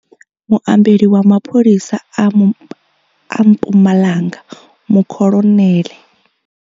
Muambeli wa mapholisa a Mpumalanga mukholoneḽe.